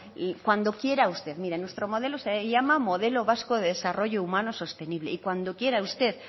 cuando quiera usted mire nuestro modelo se llama modelo vasco de desarrollo humano sostenible y cuando quiera usted